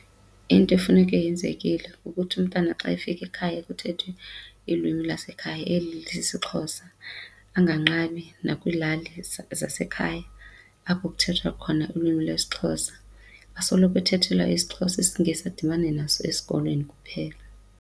Into efuneke yenzekile kukuthi umntana xa efika ekhaya kuthethwe ilwimi lwasekhaya eli lisisiXhosa anganqabi nakwiilali zasekhaya apho kuthethwa khona ulwimi lwesiXhosa. Asoloko uthethelwa isiXhosa, isiNgesi adibane naso esikolweni kuphela.